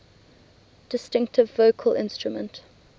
distinctive vocal instrument